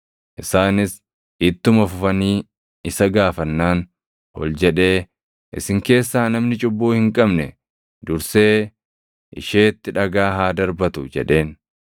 Isaanis ittuma fufanii isa gaafannaan ol jedhee, “Isin keessaa namni cubbuu hin qabne dursee isheetti dhagaa haa darbatu” jedheen.